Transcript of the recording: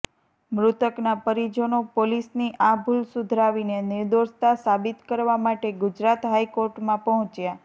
મૃતકના પરિજનો પોલીસની આ ભૂલ સુધરાવીને નિર્દોષતા સાબિત કરવા માટે ગુજરાત હાઈકોર્ટમાં પહોંચ્યા